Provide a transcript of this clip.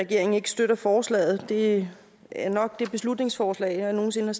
regeringen ikke støtter forslaget det er nok det beslutningsforslag jeg nogensinde